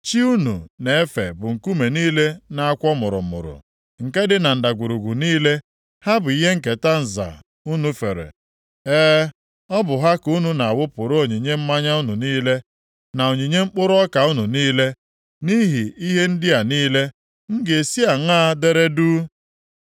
Chi unu na-efe bụ nkume niile na-akwọ mụrụmụrụ, + 57:6 Nkume ndị a na-akwọ mụrụmụrụ bụ ihe ha ji ejere chi ndị ahụ na-abụghị chi ozi. nke dị na ndagwurugwu niile, ha bụ ihe nketa nza unu fere. E, ọ bụ ha ka unu na-awụpụrụ onyinye mmanya unu niile na onyinye mkpụrụ ọka unu niile. Nʼihi ihe ndị a niile, m ga-esi aṅaa dere duu?